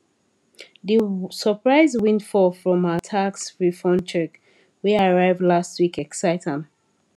d surprise windfall from her tax refund check wey arrive last week excite am